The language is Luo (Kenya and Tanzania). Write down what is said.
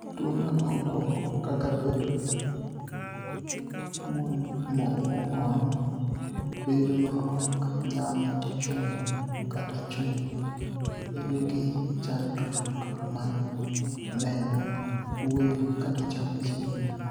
Tuwo mag obwonigo (ni eurological disorders) kaka bedo monig'ol, bedo maok niyal chunig' kata chunig', bedo gi chanidruok mar ni eno, wuoyo, kata chamo chiemo.